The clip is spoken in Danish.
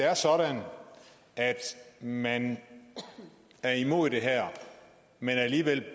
er sådan at man er imod det her men alligevel